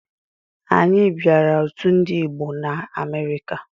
Anyị banyere otu Ndigbo na Amerịka.